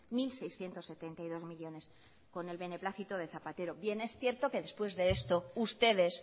mil seiscientos setenta y dos millónes con el beneplácito de zapatero bien es cierto que después de esto ustedes